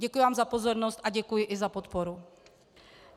Děkuji vám za pozornost a děkuji i za podporu.